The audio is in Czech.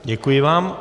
Děkuji vám.